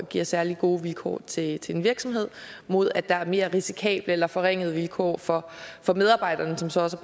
giver særlig gode vilkår til til en virksomhed mod at der er mere risikable eller forringede vilkår for for medarbejderne som så også